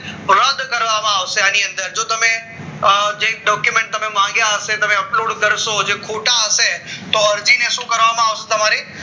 રદ કરવામાં આવશે આની અંદર જો તમે જે document માંગ્યા હશે તમે અપલોડ કરશો જે ખોટા હશે તો હજી ને શું કરવામાં આવશે તમારે